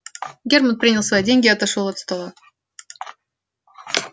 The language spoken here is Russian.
германн принял свои деньги и отошёл от стола